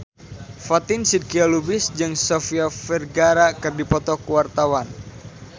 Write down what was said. Fatin Shidqia Lubis jeung Sofia Vergara keur dipoto ku wartawan